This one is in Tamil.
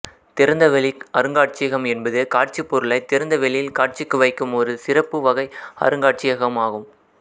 திறந்தவெளி அருங்காட்சியகம் என்பது காட்சிப்பொருட்களைத் திறந்த வெளியில் காட்சிக்கு வைக்கும் ஒரு சிறப்பு வகை அருங்காட்சியகம் ஆகும்